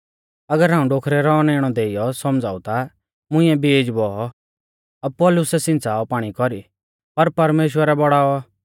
अगर हाऊं डोखरै रौ औनैणै देइयौ सौमझ़ाऊ ता मुंइऐ बीज बौऔ अपुल्लोसै सिंच़ाऔ पाणी कौरी पर परमेश्‍वरै बौड़ाऔ